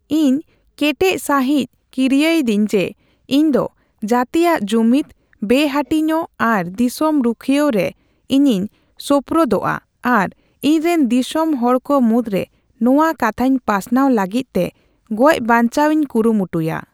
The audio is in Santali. ᱤᱧ ᱠᱮᱴᱮᱡ ᱥᱟᱹᱦᱤᱡᱽ ᱠᱤᱨᱭᱟᱹᱭᱮᱫᱟᱧ ᱡᱮ, ᱤᱧᱫᱚ ᱡᱟᱹᱛᱤᱭᱟᱜ ᱡᱩᱢᱤᱫ, ᱵᱮᱼᱦᱟᱹᱴᱤᱧᱚᱜ ᱟᱨ ᱫᱤᱥᱚᱢ ᱨᱩᱠᱷᱤᱭᱟᱹᱣ ᱨᱮ ᱤᱧᱤᱧ ᱥᱳᱯᱨᱳᱫᱚᱜᱼᱟ ᱟᱨ ᱤᱧᱨᱮᱱ ᱫᱤᱥᱚᱢ ᱦᱚᱲ ᱠᱚ ᱢᱩᱫᱽᱨᱮ ᱱᱚᱣᱟ ᱠᱟᱛᱷᱟᱧ ᱯᱟᱥᱱᱟᱣ ᱞᱟᱹᱜᱤᱫᱛᱮ ᱜᱚᱡᱼᱵᱟᱧᱪᱟᱣᱤᱧ ᱠᱩᱨᱩᱢᱩᱴᱩᱭᱟ ᱾